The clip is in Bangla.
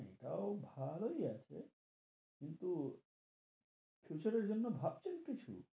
এটাও ভালোই আছে, কিন্তু future এর জন্য ভাবছেন কিছু?